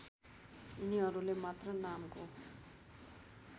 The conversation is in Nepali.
यिनीहरूले मात्र नामको